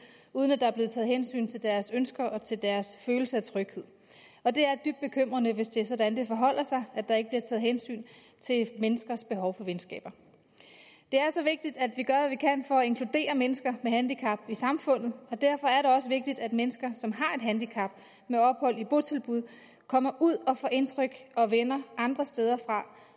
uden at der er blevet taget hensyn til deres ønsker og til deres følelse af tryghed og det er dybt bekymrende hvis det er sådan det forholder sig at der ikke bliver taget hensyn til menneskers behov for venskaber det er så vigtigt at vi gør hvad vi kan for at inkludere mennesker med handicap i samfundet og derfor er det også vigtigt at mennesker som har et handicap med ophold i botilbud kommer ud og får indtryk og venner andre steder fra